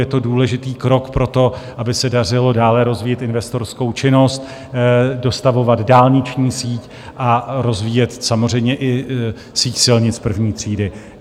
Je to důležitý krok pro to, aby se dařilo dále rozvíjet investorskou činnost, dostavovat dálniční síť a rozvíjet samozřejmě i síť silnic první třídy.